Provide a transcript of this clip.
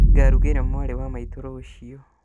Nĩngarugĩra mwarĩ wa maitũ rũciũ